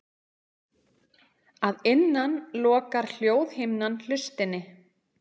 Að innan lokar hljóðhimnan hlustinni.